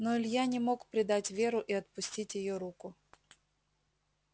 но илья не мог предать веру и отпустить её руку